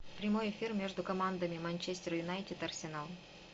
прямой эфир между командами манчестер юнайтед арсенал